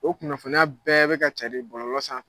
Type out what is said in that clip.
O kunnafoniya bɛɛ bɛ ka cari bɔlɔlɔ san fɛ.